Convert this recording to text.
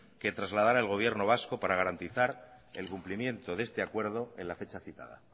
que trasladará el gobierno vasco para garantizar el cumplimiento de este acuerdo en la fecha citada